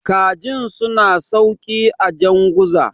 kajin suna sauki a janguza